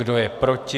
Kdo je proti?